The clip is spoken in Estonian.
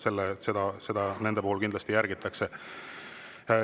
Seda nende puhul kindlasti järgitakse.